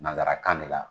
Nansarakan de la